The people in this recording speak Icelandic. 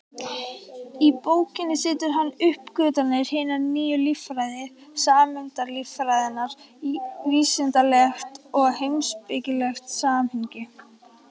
Í bókinni setur hann uppgötvanir hinnar nýju líffræði, sameindalíffræðinnar, í vísindalegt og heimspekilegt samhengi.